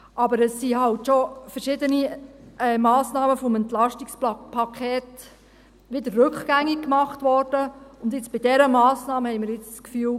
Aber es wurden halt schon verschiedene Massnahmen des EP wieder rückgängig gemacht, und jetzt bei dieser Massnahme haben wir das Gefühl: